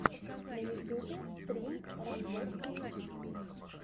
на ютьюбе стрим рамзесстиви